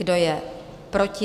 Kdo je proti?